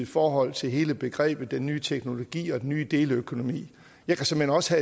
forhold til hele begrebet den nye teknologi og den nye deleøkonomi jeg kan såmænd også